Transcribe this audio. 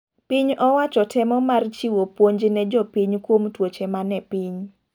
Piny owacho temo mar chiwo pionj ne jopiny kuom tuoche mane piny.